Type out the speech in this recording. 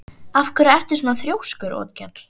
Af hverju ertu svona þrjóskur, Otkell?